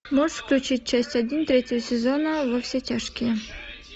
можешь включить часть один третьего сезона во все тяжкие